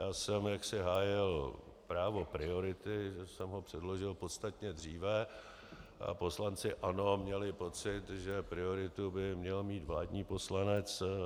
Já jsem jaksi hájil právo priority, že jsem ho předložil podstatně dříve, a poslanci ANO měli pocit, že prioritu by měl mít vládní poslanec.